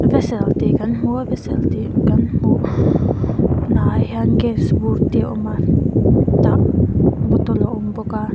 vessel tih kan hmu a vessel tih kan hmuh na ah hian gas bur te a awm a tah bottle a awm bawk a.